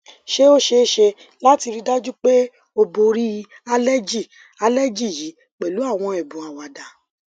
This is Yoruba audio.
ṣé o ṣee ṣe lati rii daju pe o bori aleji aleji yi pẹlu àwọn ẹbùn àwàdá